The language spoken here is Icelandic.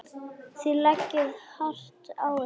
Þið leggið hart að ykkur.